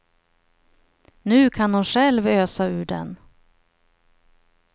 Nu kan hon själv ösa ur den.